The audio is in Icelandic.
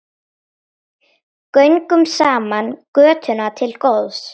Göngum saman götuna til góðs.